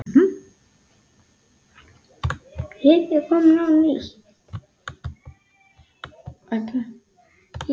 Ekkert rugl, ekkert vesen.